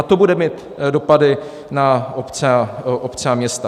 A to bude mít dopady na obce a města.